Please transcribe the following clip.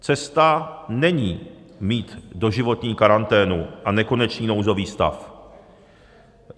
Cesta není mít doživotní karanténu a nekonečný nouzový stav.